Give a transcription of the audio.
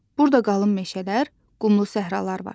Burda qalın meşələr, qumlu səhralar var.